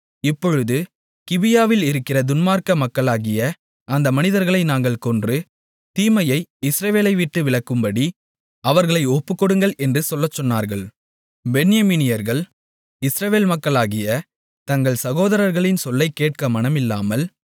இப்பொழுது கிபியாவில் இருக்கிற துன்மார்க்க மக்களாகிய அந்த மனிதர்களை நாங்கள் கொன்று தீமையை இஸ்ரவேலைவிட்டு விலக்கும்படி அவர்களை ஒப்புக்கொடுங்கள் என்று சொல்லச் சொன்னார்கள் பென்யமீனியர்கள் இஸ்ரவேல் மக்களாகிய தங்கள் சகோதரர்களின் சொல்லைக் கேட்க மனமில்லாமல்